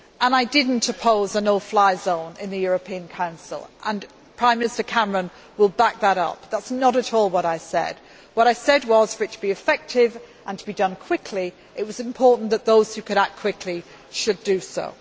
I did not oppose a no fly zone in the European Council and Prime Minister Cameron will back that up that is not at all what I said. What I said was that for it to be effective and to be done quickly, it was important that those who could act quickly should do